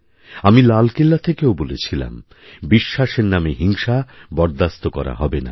আমি লালকেল্লা থেকেও বলেছিলাম বিশ্বাসের নামে হিংসা বরদাস্ত করা হবে না